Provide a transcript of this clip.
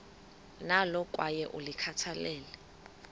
nalo kwaye ulikhathalele